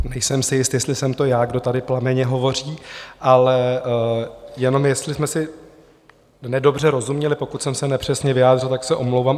Nejsem si jist, jestli jsem to já, kdo tady plamenně hovoří, ale jenom jestli jsme si nedobře rozuměli, pokud jsem se nepřesně vyjádřil, tak se omlouvám.